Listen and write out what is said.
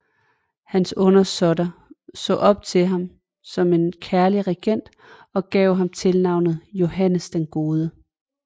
Hans undersåtter så op til ham som en kærlig regent og gav ham tilnavnet Johannes den gode